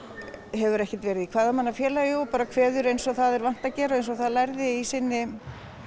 hefur ekki verið kvæðamannafélagi og kveður eins og það er vant að gera eins og það lærði í sinni